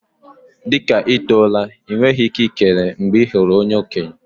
Dị ka ị tọrọ la, enweghị ike ikele mgbe ị hụrụ okenye.